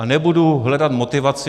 A nebudu hledat motivaci.